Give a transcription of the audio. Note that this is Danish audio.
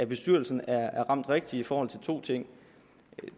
bestyrelsen er ramt rigtigt i forhold til to ting